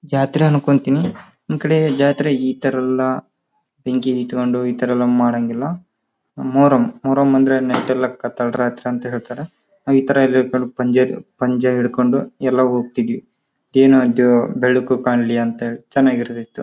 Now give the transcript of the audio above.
ಜಾತ್ರೆ ಅಂದ್ಕೊಂತೀನಿ ನಮ್ ಕಡೆ ಜಾತ್ರೆ ಇತರ ಎಲ್ಲ ಬೆಂಕಿ ಇಟ್ಕೊಂಡು ಇತರ ಎಲ್ಲ ಮಾಡಾಂಗಿಲ್ಲ ಮೂರೂ ಅಂದ್ರೆ ಮೆಟ್ಟಿಲ ಲಕ್ಕ ಅಯ್ತಿ ಜಾತ್ರಿ ಅಂತ ಹೇಳ್ತರ ಪಂಜಿಹಿಡ್ಕೊಂಡು ಎಲ್ಲ ಹೋಗತೀವಿ ಬೆಳಕು ಕಾಣಲಿ ಅಂದ್ಕೊಂಡು--